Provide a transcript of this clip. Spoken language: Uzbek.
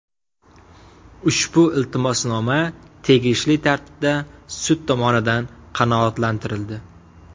Ushbu iltimosnoma tegishli tartibda sud tomonidan qanoatlantirildi.